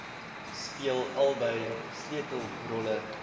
speel albei sleutelrolle